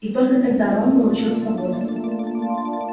и только тогда рон получил свободу